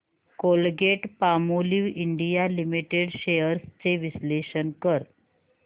Colgate Palmolive India Limited shares चे विश्लेषण कर